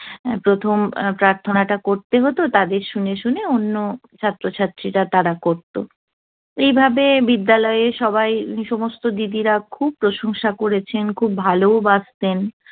প্রথম প্রার্থনাটা করতে হত। তাদের শুনে শুনে অন্য ছাত্রছাত্রীরা, তারা করত। এভাবে বিদ্যালয়ে সবাই, সমস্ত দিদিরা খুব প্রশংসা করেছেন, খুব ভালও বাসতেন।